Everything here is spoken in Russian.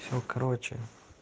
все короче